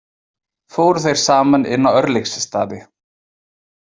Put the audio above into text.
Fóru þeir saman inn á Örlygsstaði.